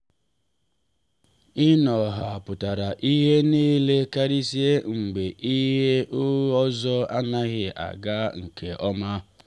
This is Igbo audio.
inọ ha pụtara ihe niile karịsịa mgbe ihe ọzọ anaghị aga nke ọma.